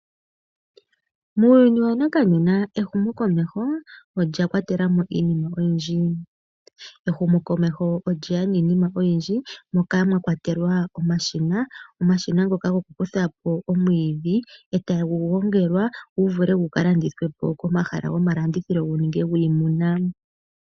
Muuyuni wa nakanena ehumokomeho olya kwatela mo iinima oyindji. Ehumokomeho olye ya niinima oyindji moka mwa kwatelwa omashina. Omashina ngoka gokukutha po omwiidhi, e tagu gongelwa gu vule gu ka landithwe po komahala go malandithilo gu ninge gwiimuna.